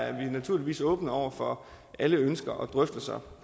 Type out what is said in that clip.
er vi naturligvis åbne over for alle ønsker og drøftelser